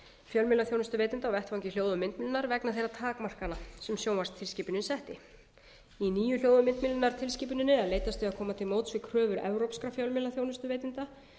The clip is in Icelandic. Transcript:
fjölmiðlaþjónustuveitenda á vettvangi hljóð og myndmiðla vegna þeirrar takmarkana sem sjónvarpstilskipunin setti í nýju hljóð og myndmiðlunartilskipuninni er leitast við að koma til móts við kröfur evrópskra fjölmiðlaþjónustuveitenda